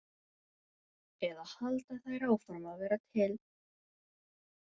Eða halda þær áfram að vera til?